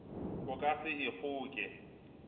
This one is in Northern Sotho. o ka se e kgoke